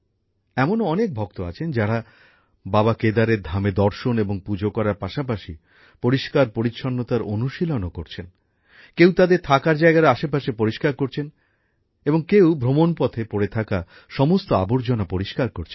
এমনও অনেক ভক্ত আছেন যারা বাবা কেদারের ধামে দর্শন এবং পুজো করার পাশাপাশি পরিষ্কারপরিচ্ছন্নতার অনুশীলনও করছেন কেউ তাদের থাকার জায়গার আশেপাশে পরিষ্কার করছেন এবং কেউ ভ্রমণ পথে পড়ে থাকা সমস্ত আবর্জনা পরিষ্কার করছেন